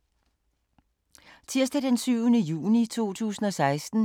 Tirsdag d. 7. juni 2016